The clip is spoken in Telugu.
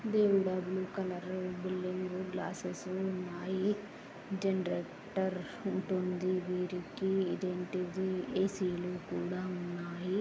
దేవుడా బ్లూ కలరు. బిల్డింగు గ్లాస్సెస్ ఉన్నాయి. జనరేటర్ ఉంటుంది వీరికి. ఇదేంటిది ఏ_సీ లు కూడా ఉన్నాయి.